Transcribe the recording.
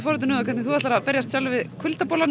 forvitin um það hvernig þú ætlar að berjast sjálfur við